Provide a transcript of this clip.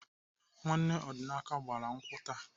Nwanne Ọdịnaka gbara nkwụ taa.